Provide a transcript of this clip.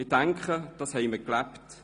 Ich denke, das haben wir gelebt.